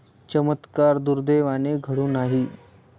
चमत्कार, दुर्दैवाने, घडू नाही!